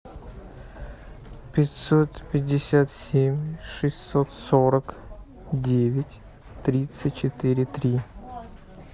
пятьсот пятьдесят семь шестьсот сорок девять тридцать четыре три